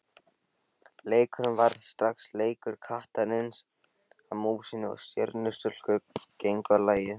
Leikurinn varð strax leikur kattarins að músinni og Stjörnustúlkur gengu á lagið.